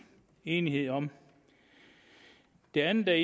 enighed om det andet der